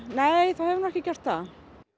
nei það hefur nú ekki gert það